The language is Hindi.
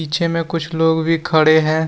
पीछे में कुछ लोग भी खड़े हैं।